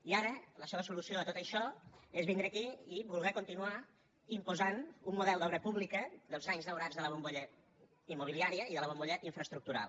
i ara la seua solució a tot això és vindre aquí i voler continuar imposant un model d’obra pública dels anys daurats de la bombolla immobiliària i de la bombolla infraestructural